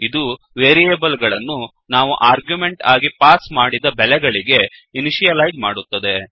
ಇದು ವೇರಿಯೇಬಲ್ ಗಳನ್ನು ನಾವು ಆರ್ಗ್ಯುಮೆಂಟ್ ಆಗಿ ಪಾಸ್ ಮಾಡಿದ ಬೆಲೆಗಳಿಗೆ ಇನಿಷಿಯಲೈಜ್ ಮಾಡುತ್ತದೆ